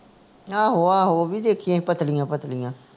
ਆਹੋ ਆਹੋ ਉਹ ਵੀ ਦੇਖੀਆਂ ਪਤਲੀਆਂ ਪਤਲੀਆਂ